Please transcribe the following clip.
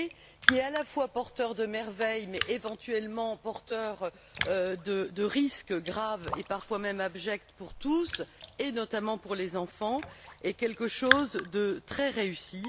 qui est à la fois porteur de merveilles, mais éventuellement porteur de risques graves, et parfois même abjects pour tous, notamment pour les enfants, est quelque chose de très réussi.